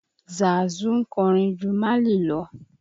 Zàsu ń kọrin ju Málì lọ